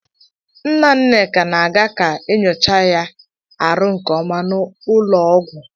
Nna Nneka na-aga ka enyoocha ya arụ nke ọma n'ụlọọgwụ.